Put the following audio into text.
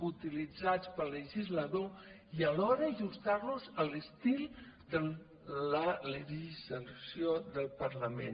utilitzats pel legislador i alhora ajustar los a l’estil de la legislació del parlament